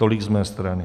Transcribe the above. Tolik z mé strany.